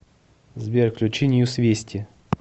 сбер включи ньюс вести